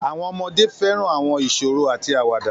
Àwọn ọmọdé fẹ́ràn àwọn ìṣòro àti àwàdà